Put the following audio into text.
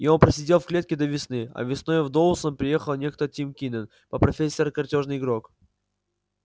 и он просидел в клетке до весны а весной в доусон приехал некто тим кинен по профессии картёжный игрок